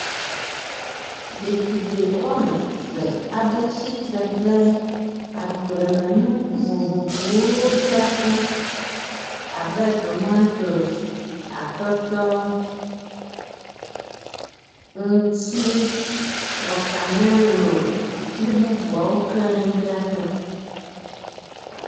Ɖetugbi wɔme ve aɖe tsitre ɖe agblemenuku vovovowo dzraƒe abe; tomatosi, atɔtɔ, ŋtsi, watamelo kple bubuawo keŋ dzaƒe.